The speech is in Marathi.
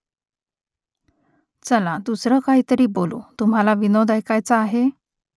चला दुसरं काहीतरी बोलू तुम्हाला विनोद ऐकायाचा आहे ?